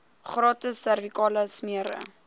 gratis servikale smere